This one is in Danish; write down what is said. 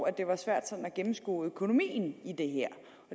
at det var svært at gennemskue økonomien i det her